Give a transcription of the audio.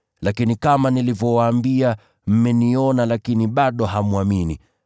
Lakini kama nilivyowaambia, mmeniona lakini bado hamwamini.